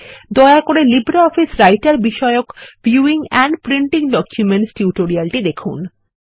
দয়া করে লিব্রিঅফিস রাইটের বিষয়ক ভিউইং এন্ড প্রিন্টিং ডকুমেন্টস টিউটোরিয়ালটি দেখুন